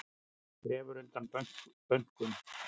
Grefur undan bönkum